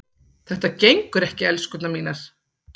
Þetta gengur ekki, elskurnar mínar.